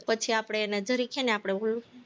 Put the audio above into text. પછી આપણે એને ધરીક હે ને આપણે